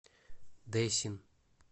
дэсин